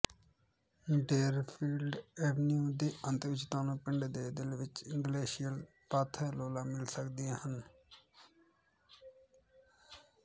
Deerfield avenue ਦੇ ਅੰਤ ਵਿਚ ਤੁਹਾਨੂੰ ਪਿੰਡ ਦੇ ਦਿਲ ਵਿਚ ਗਲੇਸ਼ੀਅਲ ਪਾਥਲੌਲਾਂ ਮਿਲ ਸਕਦੀਆਂ ਹਨ